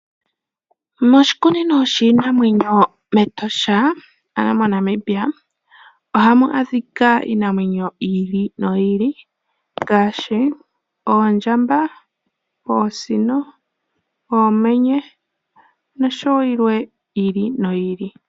Moshikunino shiinamwenyo mEtosha ano moNamibia ohamu adhika iinamwenyo yi ili noyi ili ngaashi oondjamba, oosino, oomenye nosho wo yilwe yi ili noyi ili.